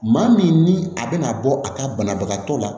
Maa min ni a bɛna bɔ a ka banabagatɔ la